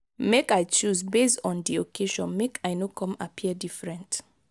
make i choose base on di occasion make i no come appear different.